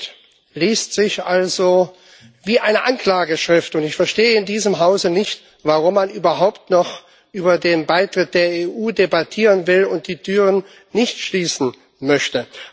Der Bericht liest sich also wie eine Anklageschrift, und ich verstehe in diesem Hause nicht, warum man überhaupt noch über den Beitritt zur EU debattieren will und die Türen nicht schließen möchte.